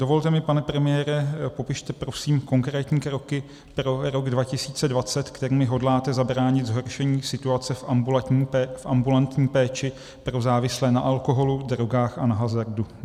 Dovolte mi, pane premiére, popište prosím konkrétní kroky pro rok 2020, kterými hodláte zabránit zhoršení situace v ambulantní péči pro závislé na alkoholu, drogách a na hazardu.